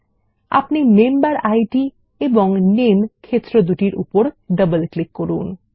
এবং আপনি মেম্বেরিড এবং নেম ক্ষেত্র এর উপর ডবল ক্লিক করুন